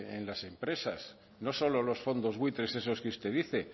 en las empresas no solo los fondos buitres esos que usted dice